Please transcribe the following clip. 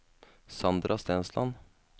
Sandra Stensland